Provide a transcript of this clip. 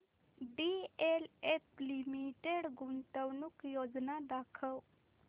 DLF limited गुंतवणूक योजना दाखव